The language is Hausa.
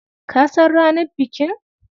Ka san ranar bikin?